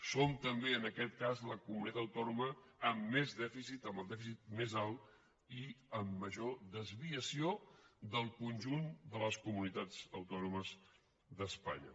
som també en aquest cas la comunitat autònoma amb més dèficit amb el dèficit més alt i amb major desviació del conjunt de les comunitats autònomes d’espanya